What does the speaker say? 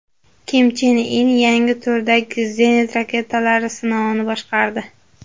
Kim Chen In yangi turdagi zenit raketalari sinovini boshqardi.